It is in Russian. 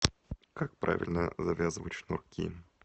как правильно завязывать шнурки